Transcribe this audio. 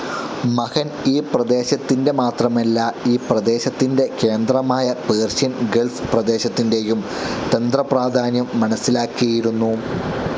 മഹൻ ഈ പ്രദേശത്തിന്റെ മാത്രമല്ല ഈ പ്രദേശത്തിന്റെ കേന്ദ്രമായ പേർഷ്യൻ ഗൾഫ്‌ പ്രദേശത്തിന്റെയും തന്ത്രപ്രാധാന്യം മനസ്സിലാക്കിയിരുന്നു.